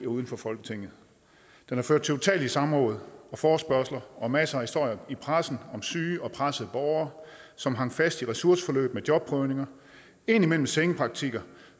uden for folketinget den har ført til utallige samråd og forespørgsler og masser af historier i pressen om syge og pressede borgere som hang fast i ressourceforløb med jobprøvning og indimellem sengepraktikker